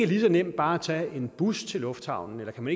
lige så nemt bare at tage en bus til lufthavnen eller om